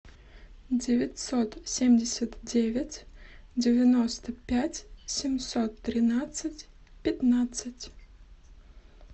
девятьсот семьдесят девять девяносто пять семьсот тринадцать пятнадцать